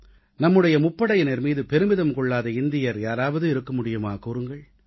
நம்முடைய முப்படையினர் மீது பெருமிதம் கொள்ளாத இந்தியர் யாராவது இருக்க முடியுமா கூறுங்கள்